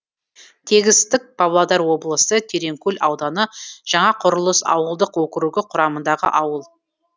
тегістік павлодар облысы тереңкөл ауданы жаңақұрылыс ауылдық округі құрамындағы ауыл